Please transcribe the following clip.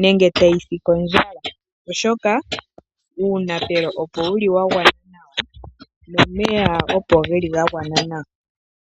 nenge tayi si kondjala, oshoka uunapelo opo wu li wagwana nawa, nomeya opo geli gagwana nawa.